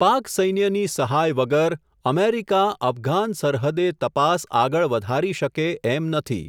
પાક સૈન્યની સહાય વગર, અમેરિકા અફઘાન સરહદે તપાસ આગળ વધારી શકે એમ નથી.